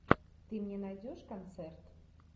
ты мне найдешь концерт